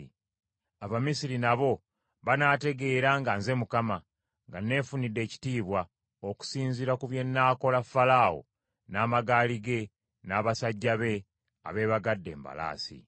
Abamisiri nabo banaategeera nga nze Mukama , nga nefunidde ekitiibwa: okusinziira ku bye nnaakola Falaawo n’amagaali ge, n’abasajja be abeebagadde embalaasi.”